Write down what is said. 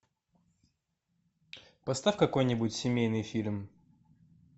поставь какой нибудь семейный фильм